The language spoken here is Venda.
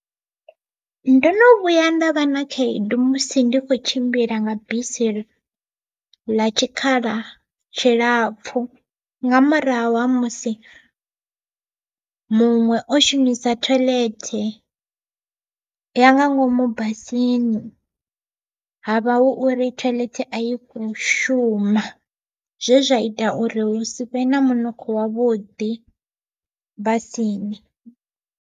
Ndo no vhuya nda vha na khaedu musi ndi kho tshimbila nga bisi ḽa tshikhala tshilapfhu, nga murahu ha musi muṅwe o shumisa thoiḽethe ya nga ngomu basini ha vha hu uri thoiḽethe a i kho shuma zwe zwa ita uri hu si vhe na munukho wavhuḓi basini.